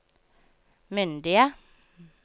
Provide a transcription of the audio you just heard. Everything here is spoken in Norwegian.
myndige